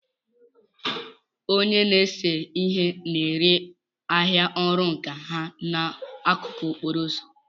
Onye na-ese ihe na-ere ahịa ọrụ nka ha n'akụkụ okporo ụzọ.